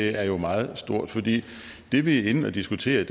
er meget stort fordi det vi er inde at diskutere